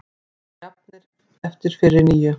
Jafnir eftir fyrri níu